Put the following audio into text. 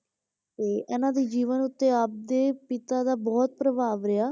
ਤੇ ਇਹਨਾਂ ਦੇ ਜੀਵਨ ਉੱਤੇ ਆਪ ਦੇ ਪਿਤਾ ਦਾ ਬਹੁਤ ਪ੍ਰਭਾਵ ਰਿਹਾ,